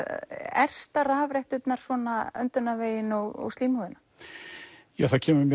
erta rafretturnar svona öndunarveginn og slímhúðina ja það kemur mér